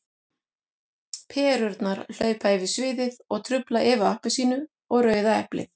Perurnar hlaupa yfir sviðið og trufla Evu appelsínu og Rauða eplið.